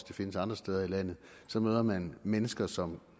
det findes andre steder i landet så møder man mennesker som